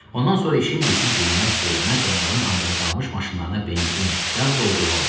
Ondan sonra işim, gücüm dinməz, söyləməz, onların anda qalmış maşınlarına benzin, yağ doldurmaq olacaq.